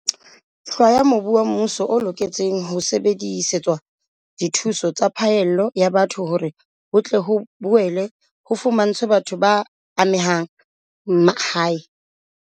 Hlwaya mobu wa mmuso o loketseng ho sebedisetswa dithuso tsa phallelo ya batho hore ho tle ho boele ho fumantshwe batho ba amehang mahae.